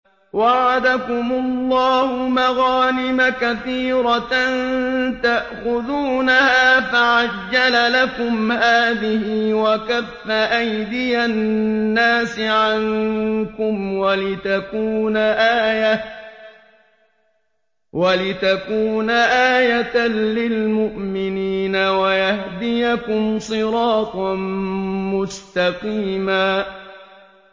وَعَدَكُمُ اللَّهُ مَغَانِمَ كَثِيرَةً تَأْخُذُونَهَا فَعَجَّلَ لَكُمْ هَٰذِهِ وَكَفَّ أَيْدِيَ النَّاسِ عَنكُمْ وَلِتَكُونَ آيَةً لِّلْمُؤْمِنِينَ وَيَهْدِيَكُمْ صِرَاطًا مُّسْتَقِيمًا